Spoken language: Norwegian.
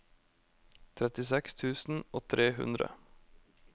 trettiseks tusen og tre hundre